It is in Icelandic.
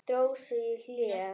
Dró sig í hlé.